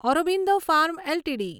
Aurobindo pharma LTD